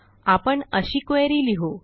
आपण अशी queryलिहू